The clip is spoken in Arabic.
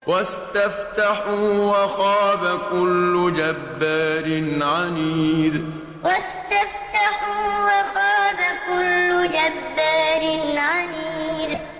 وَاسْتَفْتَحُوا وَخَابَ كُلُّ جَبَّارٍ عَنِيدٍ وَاسْتَفْتَحُوا وَخَابَ كُلُّ جَبَّارٍ عَنِيدٍ